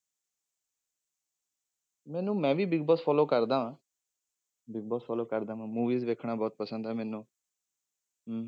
ਮੈਨੂੰ ਮੈਂ ਵੀ ਬਿਗ ਬੋਸ follow ਕਰਦਾਂ ਬਿਗ ਬੋਸ follow ਕਰਦਾ ਹਾਂ movies ਦੇਖਣਾ ਬਹੁਤ ਪਸੰਦ ਹੈ ਮੈਨੂੰ ਹਮ